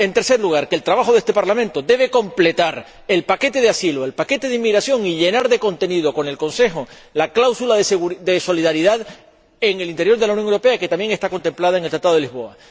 En tercer lugar, que el trabajo de este Parlamento debe completar el paquete de asilo y el paquete de inmigración, y llenar de contenido, con el Consejo, la cláusula de solidaridad en el interior de la Unión Europea, que también está contemplada en el Tratado de Lisboa.